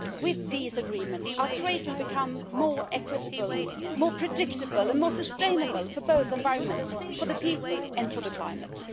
But with these agreements, our trade will become more equitable, more predictable and more sustainable for the environment, for the people and for the climate.